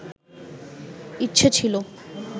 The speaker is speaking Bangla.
ইচ্ছে ছিলো